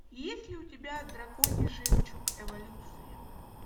есть ли у тебя драконий жемчуг эволюция